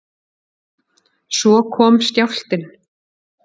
Svo kom skjálftinn.